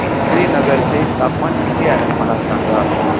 श्रीनगर चे तापमान किती आहे मला सांगा